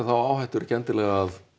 þá áhættu er ekki endilega að